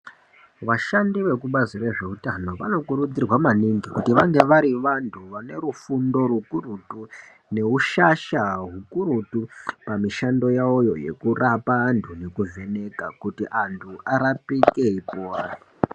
Vashandi vekubazi rezveutano vanokurudzirwa maningi kuti vange vari vantu vanefundo rukurutu. Neushasha hukurutu pamishando yavoyo yekurapa antu nekuvheneka kuti antu arapike kuvantu..